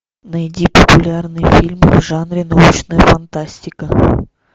найди популярный фильм в жанре научная фантастика